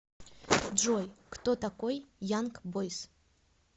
джой кто такой янг бойз